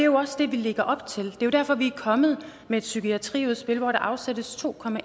også det vi lægger op til det jo derfor vi er kommet med et psykiatriudspil hvor der afsættes to